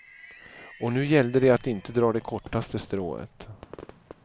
Och nu gällde det att inte dra det kortaste strået.